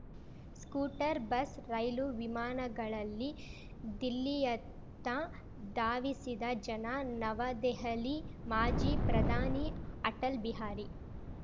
scooter bus ರೈಲು ವಿಮಾನಗಳಲ್ಲಿ ದಿಲ್ಲಿಯತ್ತ ಧಾವಿಸಿದ ಜನ ನವದೆಹಲಿ ಮಾಜಿ ಪ್ರಧಾನಿ ಅಟಲ್‌ ಬಿಹಾರಿ